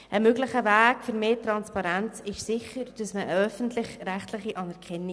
Ein möglicher Weg zu mehr Transparenz wäre sicherlich die Prüfung einer öffentlich-rechtlichen Anerkennung.